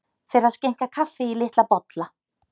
Fer að skenkja kaffi í litla bolla